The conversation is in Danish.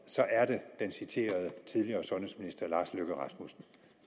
så er det den citerede tidligere sundhedsminister herre lars løkke rasmussen